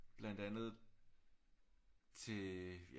Blandt andet til øh ja